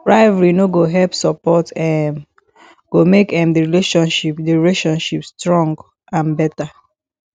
rivalry no go help support um go make um the relationship the relationship strong and better